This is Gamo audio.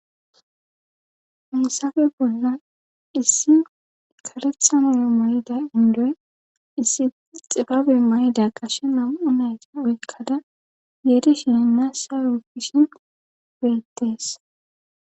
Hayssape bollan issi karetha mayo mayida indoy issi xibabe may7ida qashe nam7u nayti oykkada qeeri shininna sa gishin beettees.